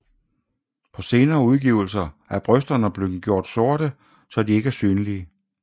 På senere udgivelser er brysterne blev gjort sorte så de ikke er synlige